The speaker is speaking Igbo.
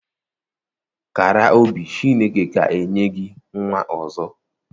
Kàrà obi Chineke ga enye gị nwa ọzọ